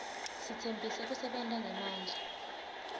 sitsembise kusebenta ngemandla